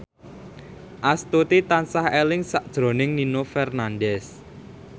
Astuti tansah eling sakjroning Nino Fernandez